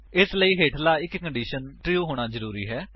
ਇਸਦੇ ਲਈ ਹੇਠਲਾ ਇੱਕ ਕੰਡੀਸ਼ਨ ਦਾ ਟਰੂ ਹੋਣਾ ਜ਼ਰੂਰੀ ਹੈ